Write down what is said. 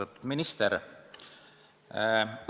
Austatud minister!